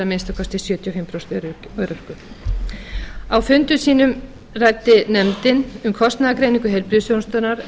minnsta kosti sjötíu og fimm prósent örorku á fundum sínum ræddi nefndin um kostnaðargreiningu heilbrigðisþjónustunnar